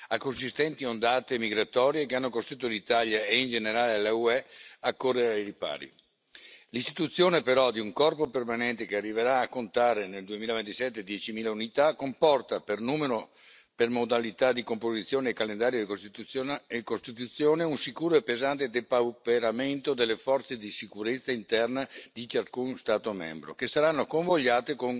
a consistenti ondate migratorie che hanno costretto l'Italia e, in generale, l'UE a correre ai ripari. L'istituzione, però, di un corpo permanente che arriverà a contare nel 2027 diecimila unità comporta, per modalità di composizione e costituzione, un sicuro e pesante depauperamento delle forze di sicurezza interna di ciascuno Stato membro, che saranno convogliate